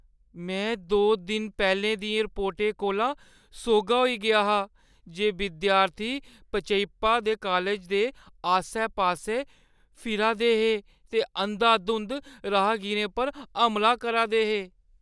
में दो दिन पैह्‌लें दियें रिपोर्टें कोला सोह्‌ग्गा होई गेआ हा जे विद्यार्थी पचैयप्पा दे कालज दे आस्सै-पास्सै फिरा दे हे ते अंधाधुंद राहगीरें पर हमला करा दे हे।